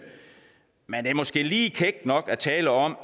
men det er måske lige kækt nok at tale om